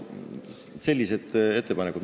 Sellised põhjendused.